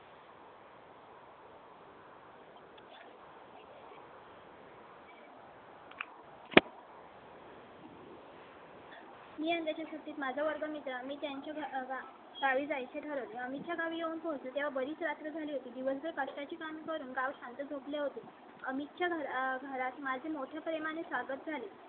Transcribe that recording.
मी यंदाच्या सुट्टीत माझा वर्गमित्र अमित त्यांच्या गावी जायचे ठरवले. अमित च्या गावी येऊन पोहोच ते तेव्हा बरीच रात्र झाली होती. दिवसभर कष्टा चे काम करून गाव शांत झोपले होते. आमच्या घरात माझे मोठ्या प्रेमाने स्वागत झाले.